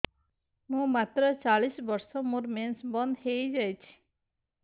ମୁଁ ମାତ୍ର ଚାଳିଶ ବର୍ଷ ମୋର ମେନ୍ସ ବନ୍ଦ ହେଇଯାଇଛି